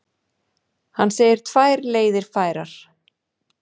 Hann segir tvær leiðir færar.